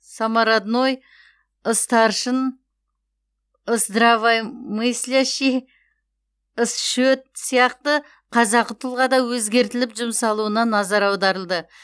самародной ыстаршын ысдраваймыслящий ісшөт сияқты қазақы тұлғада өзгертіліп жұмсалуына назар аударылды